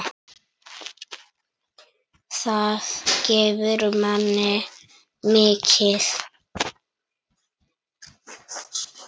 Það gefur manni mikið.